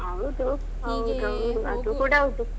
ಹೌದು. ಹೌದೌದು. ಅದು ಕೂಡಾ ಹೌದು.